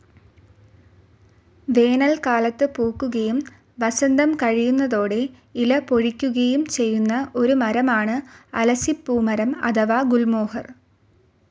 വേനൽക്കാലത്ത് പൂക്കുകയും വസന്തം കഴിയുന്നതോടെ ഇല പൊഴിക്കുകയും ചെയ്യുന്ന ഒരു മരമാണ് അലസിപ്പൂമരം അഥവാ ഗുൽമോഹർ.